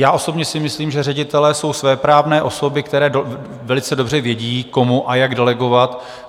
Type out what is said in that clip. Já osobně si myslím, že ředitelé jsou svéprávné osoby, které velice dobře vědí, komu a jak delegovat.